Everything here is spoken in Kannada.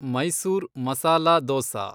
ಮೈಸೂರ್ ಮಸಾಲಾ ದೋಸಾ